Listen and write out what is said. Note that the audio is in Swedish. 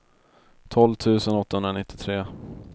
tolv tusen åttahundranittiotre